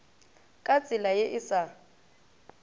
ka tsela ye e sa